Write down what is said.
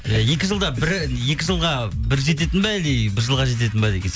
иә екі жылға бір жететін бе әлде бір жылға жететін бе